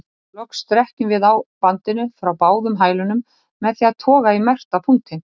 Loks strekkjum við á bandinu frá báðum hælunum með því að toga í merkta punktinn.